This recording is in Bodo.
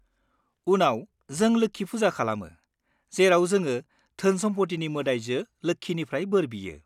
उनाव, जों 'लोक्षि फुजा' खालामो, जेराव जोङो धोन-सम्फथिनि मोदाइजो लोक्षिनिफ्राय बोर बियो।